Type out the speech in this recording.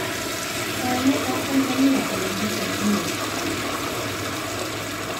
Kayanet ab Tanzania Olimpiki Rio